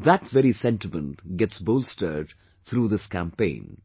...that very sentiment gets bolstered through this campaign